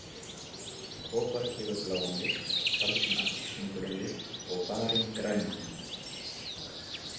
Kopar gefur bláan lit, kalsín appelsínugulan lit og barín grænan.